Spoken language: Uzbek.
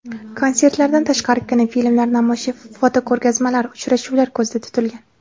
Konsertlardan tashqari, kinofilmlar namoyishi, fotoko‘rgazmalar, uchrashuvlar ko‘zda tutilgan.